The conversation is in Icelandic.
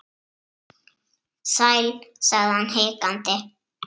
Sæl.- sagði hann hikandi